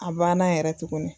A banna yɛrɛ tuguni